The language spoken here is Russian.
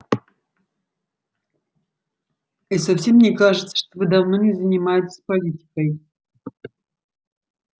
и совсем не кажется что вы давно не занимаетесь политикой